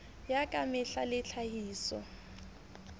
ya ka mehla le tlhahiso